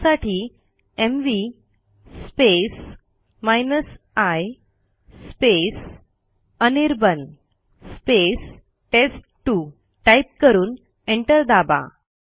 त्यासाठी MV i Anirban टेस्ट2 type करून एंटर दाबा